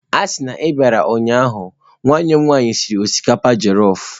Asi na i biara ụnyahụ, nwanne m nwanyi siri osikapa jelọf.